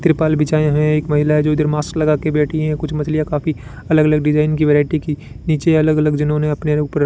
त्रिपाल बिछाए हैं एक महिला है जो इधर मास्क लगा के बैठी हैं कुछ मछलियां काफी अलग-अलग डिजाइन की वैरायटी की नीचे अलग-अलग जिन्होंने अपने ऊपर --